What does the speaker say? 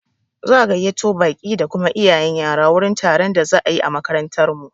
Za'a gayyato baƙi da kuma iyayen yara wurin taron da za'a yi a makarantar mu.